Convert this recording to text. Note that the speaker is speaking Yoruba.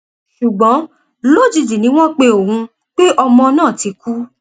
ṣùgbọn lójijì ni wọn pe òun pé ọmọ náà ti kú